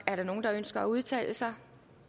er der nogen der ønsker at udtale sig